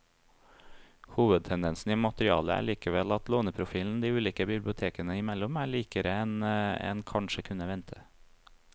Hovedtendensen i materialet er likevel at låneprofilen de ulike bibliotekene imellom er likere enn en kanskje kunne vente.